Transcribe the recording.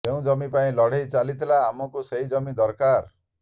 ଯେଉଁ ଜମି ପାଇଁ ଲଢ଼େଇ ଚାଲିଥିଲା ଆମକୁ ସେହି ଜମି ଦରକାର